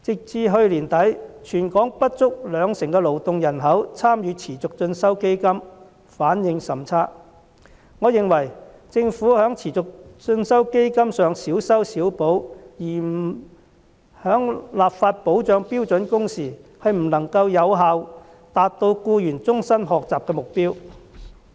至去年年底，全港不足兩成勞動人口參與持續進修基金，反應甚差，我認為政府在持續進修基金上小修小補，而不立法保障標準工時，不能有效達到僱員終身學習的目標。